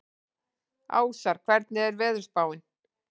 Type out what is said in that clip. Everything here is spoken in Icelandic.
Ásar, hvernig er veðurspáin?